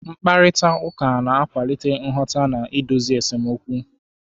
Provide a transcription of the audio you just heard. Mkparịta ụka na-akwalite nghọta na idozi esemokwu.